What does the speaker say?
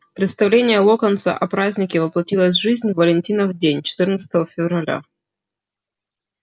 представление локонса о празднике воплотилось в жизнь в валентинов день четырнадцатого февраля